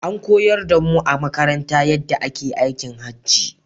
An koyar da mu a makaranta yaɗɗa ake aikin Hajji